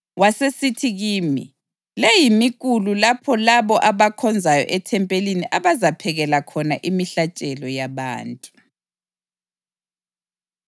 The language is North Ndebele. Wasesithi kimi, “Le yimikulu lapho labo abakhonzayo ethempelini abazaphekela khona imihlatshelo yabantu.”